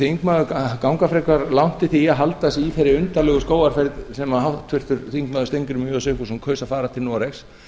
þingmaður ganga frekar langt í því að halda sig í þeirri undarlegu skógarferð sem háttvirtur þingmaður steingrímur j sigfússon kaus að fara til noregs